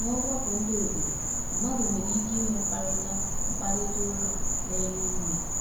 N’ọgbakọ ndị obodo, mmadụ nwere ike inwe mkparịta mkparịta ụka na-enye ume.